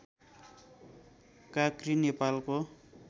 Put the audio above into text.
काँक्री नेपालको